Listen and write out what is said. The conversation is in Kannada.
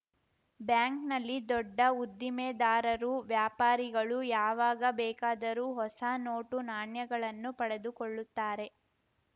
ಬ್ಯಾಂಕ್‌ನಲ್ಲಿ ದೊಡ್ಡ ಉದ್ದಿಮೆದಾರರು ವ್ಯಾಪಾರಿಗಳು ಯಾವಾಗ ಬೇಕಾದರೂ ಹೊಸ ನೋಟು ನಾಣ್ಯಗಳನ್ನು ಪಡೆದುಕೊಳ್ಳುತ್ತಾರೆ